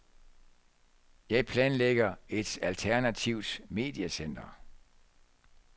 Jeg planlægger et alternativt mediecenter.